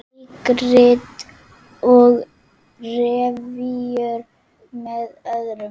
Leikrit og revíur með öðrum